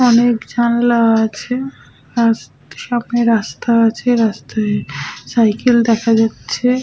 অনেক জানলা আছে আর সামনে রাস্তা আছে রাস্তায় সাইকেল দেখা যাচ্ছে--